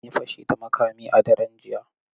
An yi fashi da makami a daren jiya.